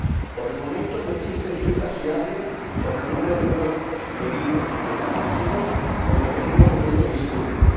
Por el momento, no existen cifras fiables sobre el número de muertos, heridos, desaparecidos o detenidos en estos disturbios.